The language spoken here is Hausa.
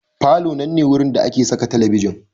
Falo nan ne wurin da ake saka talabijin.